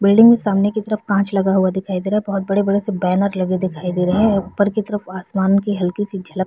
building के सामने की तरफ कांच लगा हुआ दिखाई दे रहा है बहुत बड़े-बड़े से बैनर लगे दिखाई दे रहे है ऊपर की तरफ आसमानो की हल्की सी झलक --